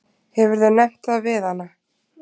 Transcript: Hefurðu nefnt það við hana?